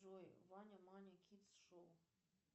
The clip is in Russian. джой ваня маня кидс шоу